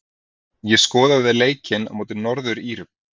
Ég skoðaði leikinn á móti Norður-Írum.